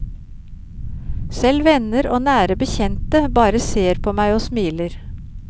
Selv venner og nære bekjente bare ser på meg og smiler.